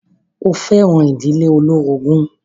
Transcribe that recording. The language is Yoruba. Ṣo fẹ́ràn ìdílé olórogún?